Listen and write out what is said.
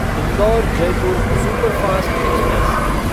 Indore Jaipur superfast express